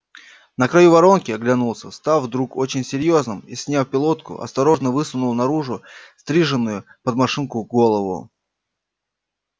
на краю воронки оглянулся став вдруг очень серьёзным и сняв пилотку осторожно высунул наружу стриженную под машинку голову